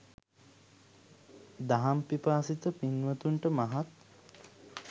දහම් පිපාසිත පින්වතුන්ට මහත්